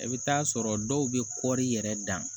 I bɛ t'a sɔrɔ dɔw bɛ kɔɔri yɛrɛ dan